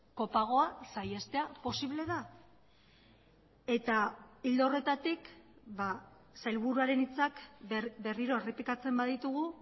kopagoa saihestea posible da eta ildo horretatik sailburuaren hitzak berriro errepikatzen baditugu